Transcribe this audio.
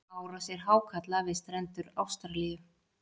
Árásir hákarla við strendur Ástralíu.